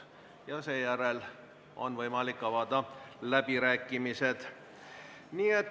Ja seejärel on võimalik avada läbirääkimised.